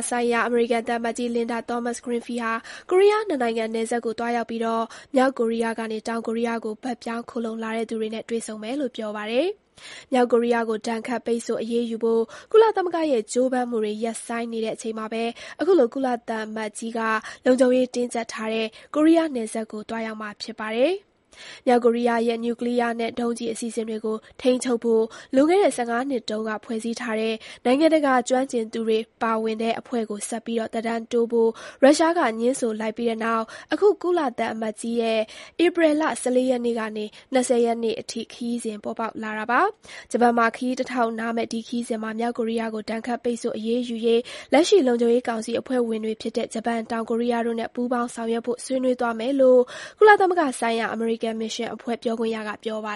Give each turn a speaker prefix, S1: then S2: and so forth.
S1: ဆိုင်ရာ အမေရိကန် သံအမတ်ကြီး Linda Thomas-Greenfield ဟာကိုရီးယားနှစ်နိုင်ငံနယ်စပ်ကိုသွားရောက်ပြီး မြောက်ကိုရီးယားကနေ တောင်ကိုရီးယားကို ဘက်ပြောင်း ခိုလှုံလာတဲ့သူတွေနဲ့ တွေ့ဆုံမယ်လို့ပြောပါတယ်။ မြောက်ကိုရီးယားကို ဒဏ်ခတ်ပိတ်ဆို့အရေးယူဖို့ ကုလသမဂ္ဂရဲ့ ကြိုးပမ်းမှုတွေ ရပ်ဆိုင်းနေတဲ့အချိန်မှာပဲ အခုလို ကုလသံအမတ်ကြီးက လုံခြုံရေးတင်းကြပ်တဲ့ ကိုရီးယားနယ်စပ်ကို သွားရောက်မှာဖြစ်ပါတယ်။ မြောက်ကိုရီးယားရဲ့ နျူကလီးယားနဲ့ ဒုံးကျည် အစီအစဉ်တွေကို ထိန်းချုပ်ဖို့ လွန်ခဲ့တဲ့ ၁၅ နှစ်ကတည်းက ဖွဲ့စည်းထားတဲ့ နိုင်ငံတကာ ကျွမ်းကျင်သူတွေပါဝင်တဲ့ အဖွဲ့ကို ဆက်ပြီး သက်တမ်းတိုးဖို့ ရုရှားကငြင်းဆိုလိုက်ပြီးတဲ့နောက် အခု ကုလသံအမတ်ကြီးရဲ့ ဧပြီလ ၁၄ ရက်ကနေ ၂၀ ရက်နေ့အထိ ခရီးစဉ် ပေါ်ပေါက်လာတာပါ။ ဂျပန်မှာခရီးတထောက်နားမယ့် ဒီခရီးစဉ်မှာ မြောက်ကိုရီးယားကို ဒဏ်ခတ်ပိတ်ဆို့အရေးယူရေး လက်ရှိ လုံခြုံရေးကောင်စီအဖွဲ့ဝင်တွေဖြစ်တဲ့ ဂျပန်၊ တောင်ကိုရီးယားတို့နဲ့ ပူးပေါင်းဆောင်ရွက်ဖို့ ဆွေးနွေးသွားမယ်လို့ ကုလသမဂ္ဂဆိုင်ရာ အမေရိကန်မစ်ရှင်အဖွဲ့ ပြောခွင့်ရက ပြောပါ